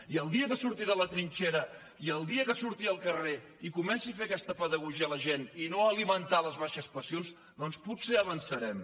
i el dia que surti de la trinxera i el dia que surti al carrer i comenci a fer aquesta pedagogia a la gent i no a alimentar les baixes passions doncs potser avançarem